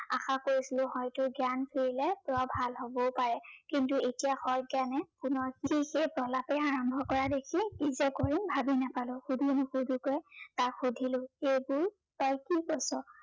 আশা কৰিছিলো, হয়তো জ্ঞান ফিৰিলে জয় ভাল হবও পাৰে। কিন্তু এতিয়া সজ্ঞানে পুনৰ সেই প্ৰলাপেই আৰম্ভ কৰা দেখি কি যে কৰো ভাবিয়েই নাপালো। সুধো নুসোধাকে তাক সুধিলো, এইবোৰ তই কি কৈছ?